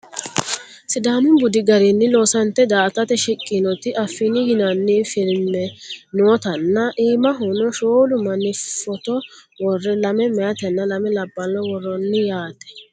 sidaamu budi garinni loosante da"atate shiqqinoti affini yinanni filmne nootanna iimahono sholu manni footo worre lame mayeetanna lame labbaaha worroonniho yaate